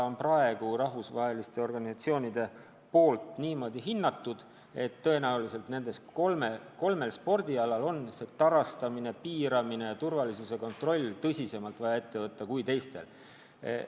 Praegu on rahvusvahelised organisatsioonid niimoodi hinnanud, et tõenäoliselt nendel kolmel spordialal on tarastamine, piiramine ja turvalisuse kontroll tõsisemalt vaja tagada kui teistel spordialadel.